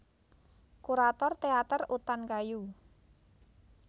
Kurator Teater Utan Kayu